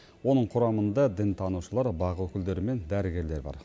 оның құрамында дінтанушылар бақ өкілдері мен дәрігерлер бар